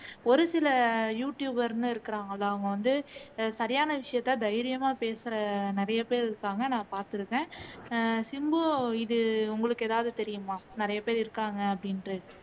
ஒரு சில you tuber ன்னு இருக்கிறாங்க இல்ல அவங்க வந்து சரியான விசயத்தை தைரியமா பேசுற நிறையப்பேர் இருக்கிறாங்க நான் பார்த்திருக்கேன் அஹ் சிம்பு இது உங்களுக்கு எதாவது தெரியுமா நிறையப்பேர் இருக்காங்க அப்படிங்கிறது